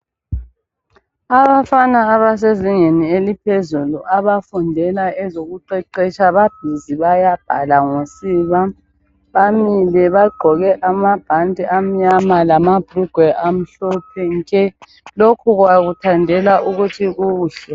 Abafana abasezingeni eliphezulu abafundela ezokuqeqetsha babhizi bayabhala ngosiba. Bamile bagqoke amabhanti amnyama lamabhulugwe amhlophe nke. Lokhu bakuthandela ukuthi kuhle.